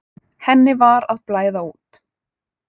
Henni var að blæða út.